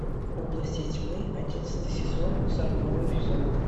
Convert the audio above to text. области тьмы одиннадцатый сезон сороковой эпизод